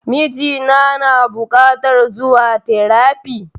Miji na na bukatar zuwa terafi